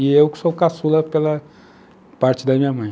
E eu que sou o caçula pela parte da minha mãe.